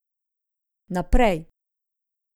Naprej.